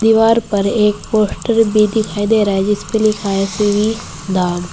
दीवार पर एक पोस्टर भी दिखाई दे रहा है जिस पर लिखा है श्री धाम--